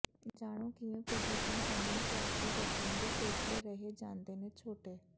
ਜਾਣੋ ਕਿਵੇਂ ਪ੍ਰਦੂਸ਼ਣ ਕਾਰਨ ਭਾਰਤੀ ਬੱਚਿਆਂ ਦੇ ਫੇਫੜੇ ਰਹਿ ਜਾਂਦੇ ਨੇ ਛੋਟੇ